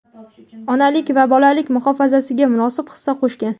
onalik va bolalik muhofazasiga munosib hissa qo‘shgan;.